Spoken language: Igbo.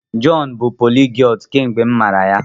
Jọn bụ poliglọtụ kemgbe m matara ya.